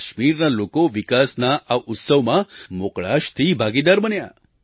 કાશ્મીરના લોકો વિકાસના આ ઉત્સવમાં મોકળાશથી ભાગીદાર બન્યા